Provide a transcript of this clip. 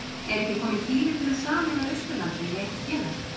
Er ekki kominn tími til að sameina Austurlandið í eitt félag?